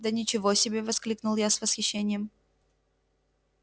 да ничего себе воскликнул я с восхищением